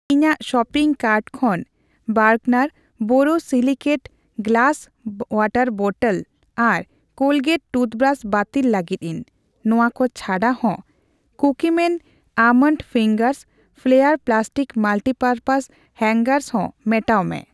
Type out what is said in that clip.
ᱤᱧᱟᱜ shopping cart ᱠᱷᱚᱱ ᱵᱟᱨᱜᱱᱟᱨ ᱵᱳᱨᱳᱥᱤᱞᱤᱠᱮᱴ ᱜᱞᱟᱥ ᱣᱟᱴᱟᱨ ᱵᱚᱴᱴᱞ ᱟᱨ ᱠᱳᱞᱜᱮᱴ ᱴᱩᱛᱷᱵᱨᱟᱥ ᱵᱟᱹᱛᱤᱞ ᱞᱟᱹᱜᱤᱫᱤᱧ ᱾ ᱱᱚᱣᱟ ᱠᱚ ᱪᱷᱟᱰᱟᱦᱚᱸ, ᱠᱩᱠᱤᱢᱮᱱ ᱵᱟᱫᱟᱢ ᱠᱟᱴᱩᱵ, ᱯᱷᱞᱮᱭᱟᱨ ᱯᱞᱟᱥᱴᱤᱠᱥ ᱢᱟᱞᱴᱤᱯᱟᱨᱯᱚᱥ ᱦᱟᱝᱜᱟᱨ ᱦᱚᱸ ᱢᱮᱴᱟᱣ ᱢᱮ ᱾